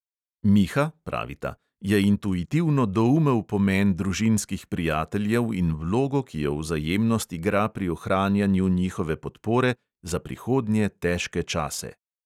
"Miha," pravita, "je intuitivno doumel pomen družinskih prijateljev in vlogo, ki jo vzajemnost igra pri ohranjanju njihove podpore za prihodnje težke čase."